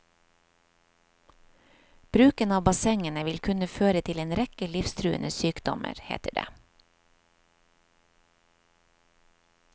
Bruken av bassengene vil kunne føre til en rekke livstruende sykdommer, heter det.